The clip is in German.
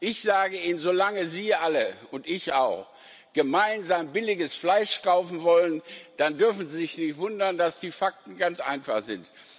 Ich sage Ihnen Solange Sie alle und ich auch billiges Fleisch kaufen wollen, dürfen Sie sich nicht wundern, dass die Fakten ganz einfach sind.